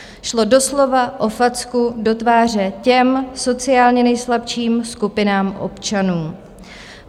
Šlo doslova o facku do tváře těm sociálně nejslabším skupinám občanů.